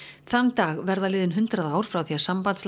þann dag verða liðin hundrað ár frá því að